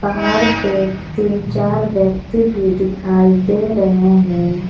पहाड़ पे तीन चार व्यक्ति भी दिखाई दे रहे हैं।